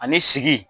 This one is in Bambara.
Ani sigi